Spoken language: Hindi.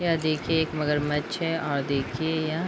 यह देखिये एक मगरमछ हैऔर देखिये यह --